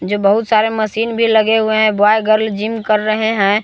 ये बहुत सारे मशीन भी लगे हुए हैं ब्वाय गर्ल जिम कर रहे हैं।